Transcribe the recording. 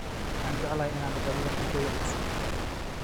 Waxaan jeclahay in aan dhadhamiyo cuntooyin cusub